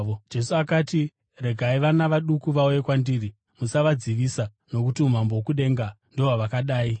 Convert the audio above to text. Jesu akati, “Regai vana vaduku vauye kwandiri, musavadzivisa, nokuti umambo hwokudenga ndohwavakadai.”